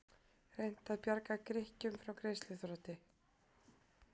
Reynt að bjarga Grikkjum frá greiðsluþroti